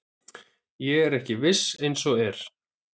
Ég er ekki viss eins og er.